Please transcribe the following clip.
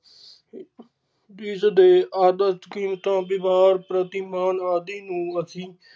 ਜਿਸ ਦੇ ਆਦਤ, ਕੀਮਤਾਂ ਵਿਹਾਰ ਪ੍ਰਤੀ ਮਾਨ ਆਦਿ ਨੂੰ ਅਸੀਂ।